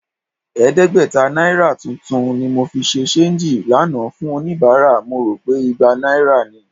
Ẹ̀ẹ́dẹ́gbẹ̀ta náírà tuntun ni mo fi ṣe ṣééńjì lánàá fún oníbàárà, mo rò pé igba náírà ni